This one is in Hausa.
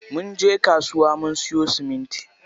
Munje kasuwa mun siyo siminti.